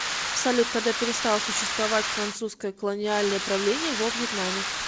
салют когда перестал существовать французское колониальное правление во вьетнаме